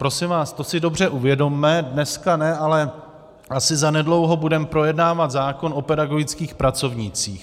Prosím vás, to si dobře uvědomme, dneska ne, ale asi zanedlouho budeme projednávat zákon o pedagogických pracovnících.